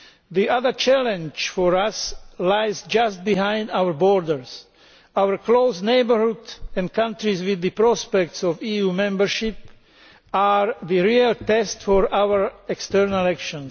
The other challenge for us lies just beyond our borders. Our near neighbourhood and countries with the prospects of EU membership are the real test for our external action.